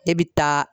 Ne bɛ taa